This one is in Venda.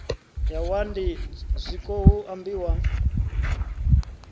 ya wadi zwiko hu ambiwa